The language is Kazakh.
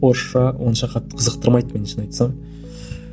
орысша онша қатты қазықтырмайды мені шын айтсам